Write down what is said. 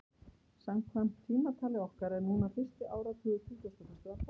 Samkvæmt tímatali okkar er núna fyrsti áratugur tuttugustu og fyrstu aldar.